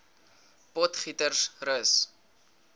potgietersrus